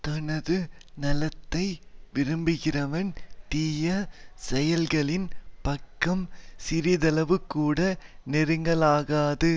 தனது நலத்தை விரும்புகிறவன் தீய செயல்களின் பக்கம் சிறிதளவுகூட நெருங்கலாகாது